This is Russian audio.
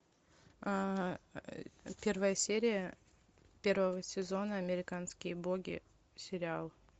первая серия первого сезона американские боги сериал